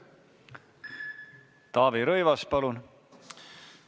Taavi Rõivas, palun!